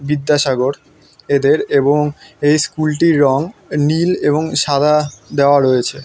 বিদ্যাসাগর এদের এবং এই স্কুল টির রং নীল এবং সাদা দেওয়া হয়েছে।